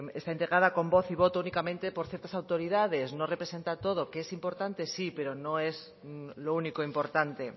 está integrada con voz y voto únicamente por ciertas autoridades no representa todo que es importante sí pero no es lo único importante